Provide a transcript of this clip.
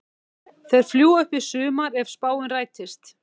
Þeir fljúga upp í sumar ef spáin rætist.